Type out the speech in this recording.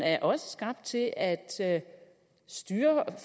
er også skabt til at styre